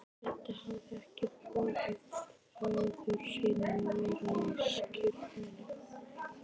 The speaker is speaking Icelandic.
Edda hafði ekki boðið föður sínum að vera við skírnina.